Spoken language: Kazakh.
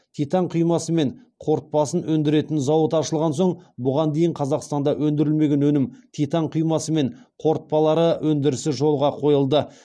титан құймасы мен қорытпасын өндіретін зауыт ашылған соң бұған дейін қазақстанда өндірілмеген өнім титан құймасы мен қорытпалары өндірісі жолға қойылды